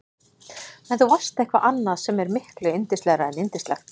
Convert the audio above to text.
En þú varst eitthvað annað sem er miklu yndislegra en yndislegt.